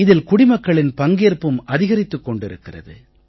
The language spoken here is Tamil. இதில் குடிமக்களின் பங்கேற்பும் அதிகரித்துக் கொண்டிருக்கிறது